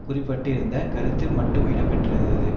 குறிப்பிட்டிருந்த கருத்து மட்டும் இடம்பெற்றிருந்தது